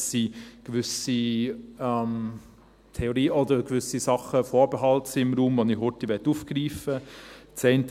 Es sind gewisse Theorien oder gewisse Sachen und Vorbehalte im Raum, die ich schnell aufgreifen möchte.